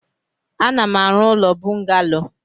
Ana m arụ ụlọ bungalo.